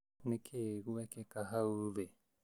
Nĩkĩ gũekĩka hau thĩ